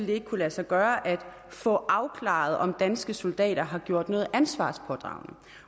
ville kunne lade sig gøre at få afklaret om danske soldater har gjort noget ansvarspådragende